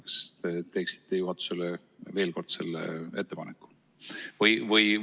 Kas te teeksite juhatusele veel kord selle ettepaneku?